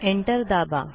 enter दाबा